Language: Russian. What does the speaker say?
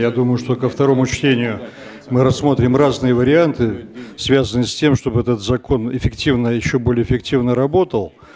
я думаю что ко второму чтению мы рассмотрим разные варианты связанные с тем чтобы этот закон эффективно ещё более эффективно работал